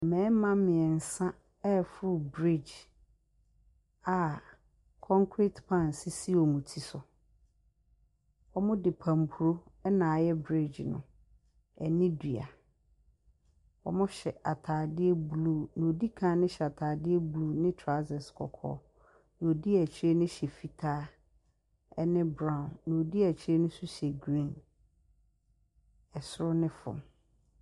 Mmɛɛma miensa ɛforo breege a kɔnkret pan sisi wɔn ti so. Wɔmo de pampro ɛna ayɛ breege no ɛne dua. Wɔmo hyɛ ataadeɛ bluu, nea odi kan no hyɛ ataadeɛ bluu, ne traosɛs kɔkɔɔ. Nea odi akyire nohyɛ fitaa ɛne braawo. Nea odi akyire no nso hyɛ griin, ɛsoro ne fɔm.